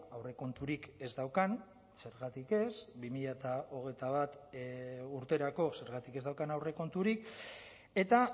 aurrekonturik ez daukan zergatik ez bi mila hogeita bat urterako zergatik ez daukan aurrekonturik eta